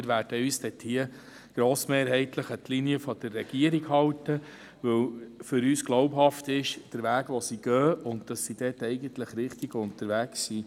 Wir werden uns grossmehrheitlich an die Linie der Regierung halten, weil für uns der aufgezeigte Weg glaubhaft ist und wir glauben, dass sie diesbezüglich richtig unterwegs ist.